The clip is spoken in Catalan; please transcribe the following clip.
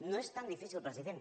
no és tan difícil president